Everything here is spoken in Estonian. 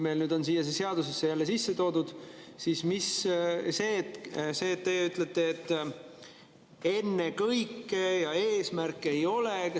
Meil on see siia seadusesse sisse toodud ja teie ütlete, et ennekõike ja et eesmärk see ei ole.